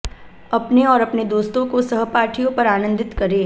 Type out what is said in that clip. अपने और अपने दोस्तों को सहपाठियों पर आनन्दित करें